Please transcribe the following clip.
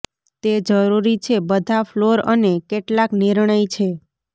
તે જરૂરી છે બધા ફ્લોર અને કેટલાક નિર્ણય છે